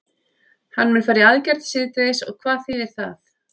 Hann mun fara í aðgerð síðdegis og hvað þýðir það?